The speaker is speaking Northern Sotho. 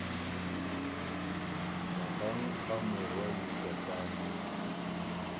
magang a morwa le tatagwe